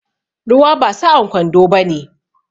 Ruwa ba sa'an kwando bane.